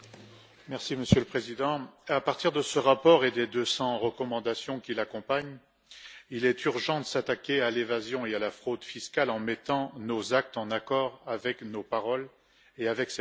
Monsieur le Président, à partir de ce rapport et des 200 recommandations qui l'accompagnent, il est urgent de s'attaquer à l'évasion et à la fraude fiscales en mettant nos actes en accord avec nos paroles et avec ce texte.